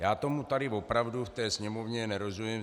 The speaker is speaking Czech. Já tomu tady opravdu v té Sněmovně nerozumím.